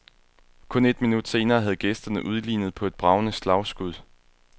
Kun et minut senere havde gæsterne udlignet på et bragende slagskud.